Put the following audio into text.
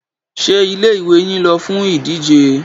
Ṣé ilé-ìwé yín lọ fún ìdíje?